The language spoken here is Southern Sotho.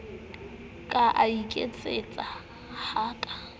ke a iketsisa ha ke